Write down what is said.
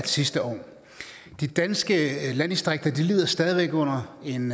sidste år de danske landdistrikter lider stadig væk under en